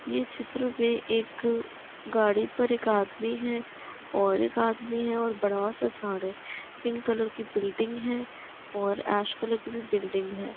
ये चित्र में एक गाड़ी पर एक आदमी है और एक आदमी है बडा सा झाड़ है। पिंक कलर की बिल्डिंग है और की बिल्डिंग है।